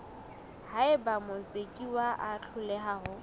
haeba motsekiswa a hloleha ho